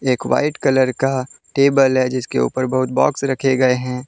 एक white colour का table है जिसके ऊपर बहुत बॉक्स रखे गए हैं।